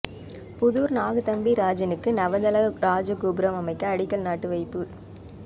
புதூர் நாகதம்பிரானுக்கு நவதள இராஜ கோபுரம் அமைக்க அடிக்கல் நாட்டி வைப்பு